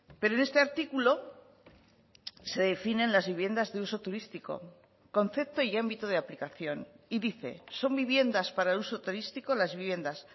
pero en este artículo se definen las viviendas de uso turístico concepto y ámbito de aplicación y dice son viviendas para uso turístico las viviendas